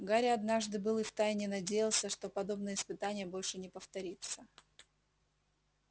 гарри однажды был и в тайне надеялся что подобное испытание больше не повторится